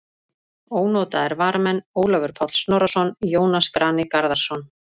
Ónotaðir varamenn: Ólafur Páll Snorrason, Jónas Grani Garðarsson.